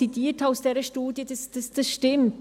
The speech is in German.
Was ich aus dieser Studie zitiert habe, stimmt.